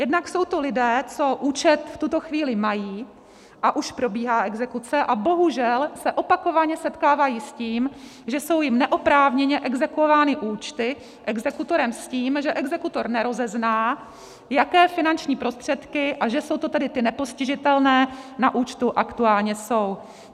Jednak jsou to lidé, co účet v tuto chvíli mají, a už probíhá exekuce, a bohužel se opakovaně setkávají s tím, že jsou jim neoprávněně exekuovány účty exekutorem s tím, že exekutor nerozezná, jaké finanční prostředky, a že jsou to tedy ty nepostižitelné, na účtu aktuálně jsou.